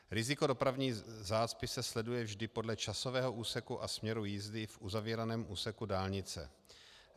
Riziko dopravní zácpy se sleduje vždy podle časového úseku a směru jízdy v uzavíraném úseku dálnice.